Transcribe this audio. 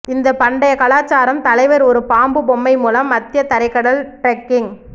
இந்த பண்டைய கலாச்சாரம் தலைவர் ஒரு பாம்பு பொம்மை மூலம் மத்திய தரைக்கடல் டிரெக்கிங்